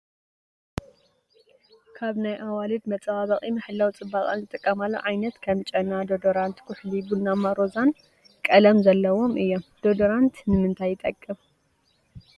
ካብ ናይ ኣዋልድ መፀባበቂ /መሐለዊ ፅባቀአን / ዝጥቀማሉ ዓይነት ከም ጨና፣ ዶደራንት ፣ኩሕሊ ቡናማን ሮዛን ቀለም ዘለዎም እዩም። ዶደራንት ንምንተይ ይጠቅም ?